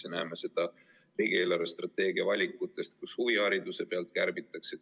Me näeme seda riigi eelarvestrateegia valikutest, mille kohaselt huvihariduse pealt kärbitakse.